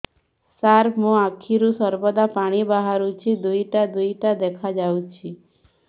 ସାର ମୋ ଆଖିରୁ ସର୍ବଦା ପାଣି ବାହାରୁଛି ଦୁଇଟା ଦୁଇଟା ଦେଖାଯାଉଛି